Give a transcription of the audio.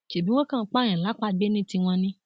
ṣebí wọn kàn ń pààyàn lápàgbé ní tiwọn ni